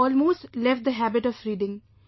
I had almost left the habit of reading